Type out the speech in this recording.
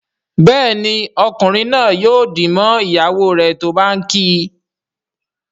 Béèni Ọkunrin naa yóò dì mọ ìyàwó rẹ tó bá ǹ kí.